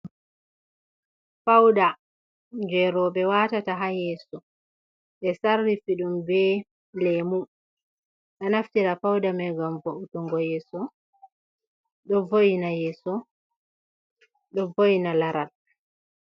Pauda je roɓe watata ha yeso, ɓe sarrifi ɗum be lemu ɗo naftira pauda mai ngam vo’utungo yeso, ɗo voina laral.